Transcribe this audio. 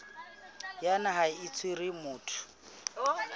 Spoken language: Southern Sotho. ya naha e tshwereng motho